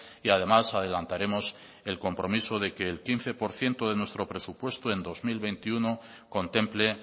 y además adelantaremos el compromiso de que el quince por ciento de nuestro presupuesto en dos mil veintiuno contemple